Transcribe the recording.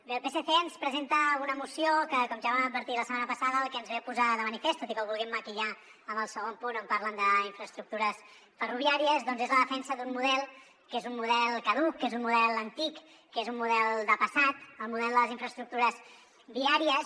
bé el psc ens presenta una moció que com ja vam advertir la setmana passada el que ens ve a posar de manifest tot i que ho vulguin maquillar amb el segon punt on parlen d’infraestructures ferroviàries doncs és la defensa d’un model que és un model caduc que és un model antic que és un model de passat el model de les infraestructures viàries